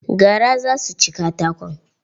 Gara za su ci katakon.